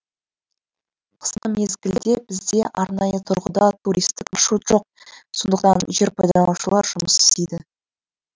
қысқы мезгілде бізде арнайы тұрғыда туристік маршрут жоқ сондықтан жер пайдаланушылар жұмыс істейді